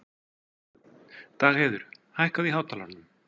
Dagheiður, hækkaðu í hátalaranum.